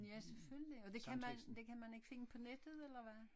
Ja selvfølgelig og det kan man det kan man ikke finde på nettet eller hvad?